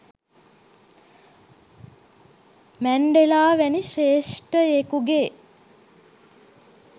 Mandela වැනි ශ්‍රේෂ්ඨයෙකුගේ